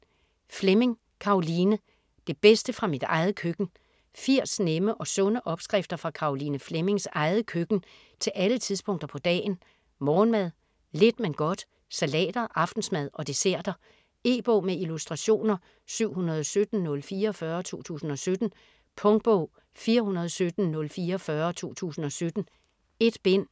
Fleming, Caroline: Det bedste fra mit eget køkken 80 nemme og sunde opskrifter fra Caroline Flemmings eget køkken til alle tidspunkter på dagen: morgenmad, lidt men godt, salater, aftensmad og desserter. E-bog med illustrationer 717044 2017. Punktbog 417044 2017. 1 bind.